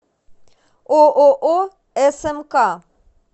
ооо смк